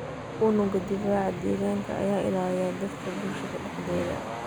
Unugga difaaca deegaanka ayaa ilaaliya dadka bulshada dhexdeeda.